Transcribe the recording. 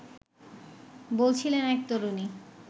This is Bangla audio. বলছিলেন এক তরুণী